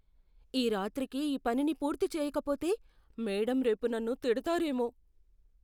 ఈ రాత్రికి ఈ పనిని పూర్తి చేయకపోతే, మేడమ్ రేపు నన్ను తిడతారేమో.